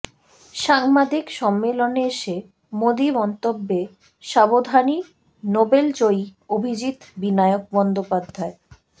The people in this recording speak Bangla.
সাংবাদিক সম্মেলনে এসে মোদি মন্তব্যে সাবধানী নোবেলজয়ী অভিজিত বিনায়ক বন্দ্যোপাধ্যায়